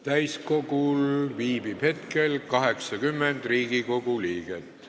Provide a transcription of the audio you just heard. Täiskogul viibib hetkel 80 Riigikogu liiget.